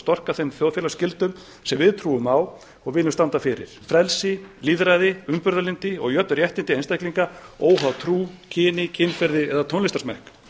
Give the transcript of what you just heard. storka þeim þjóðfélagsgildum sem við trúum á og viljum standa fyrir frelsi lýðræði umburðarlyndi og jöfn réttindi einstaklinga óháð trú kyni kynferði eða tónlistarsmekk